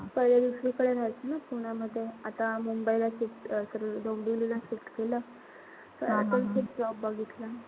पहिले दुसरीकडे राहत होती ना पुण्यामध्ये. आता मुंबईला shift sorry डोंबिवलीला shift केलं. म इथेच job बघितला.